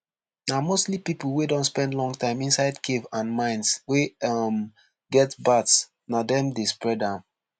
na mostly pipo wey don spend long time inside cave and mines wey um get bats na dem dey spread am